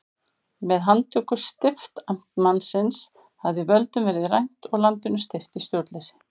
Með handtöku stiftamtmannsins hafði völdum verið rænt og landinu steypt í stjórnleysi.